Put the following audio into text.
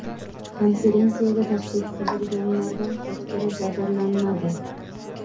Konferensiyaga tashrif buyurganlardan hech biri jabrlanmadi.